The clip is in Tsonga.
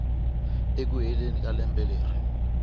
eku heleni ka lembe leri